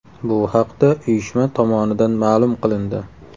Bu haqda uyushma tomonidan ma’lum qilindi .